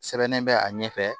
Sɛbɛnnen bɛ a ɲɛfɛ